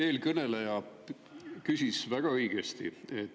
Eelkõneleja küsis väga õigesti.